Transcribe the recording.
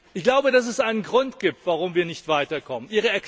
Ich glaube, dass es einen Grund gibt, warum wir nicht weiterkommen.